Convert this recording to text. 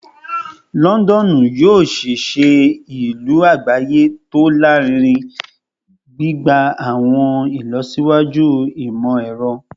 Lọndọnu yoo ṣee ṣe ilu agbaye ti o larinrin, gbigba awọn ilọsiwaju imọ-ẹrọ